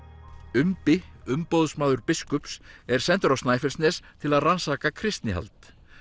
umbi umboðsmaður biskups er sendur á Snæfellsnes til að rannsaka kristnihald